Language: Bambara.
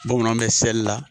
Bamananw bɛ selila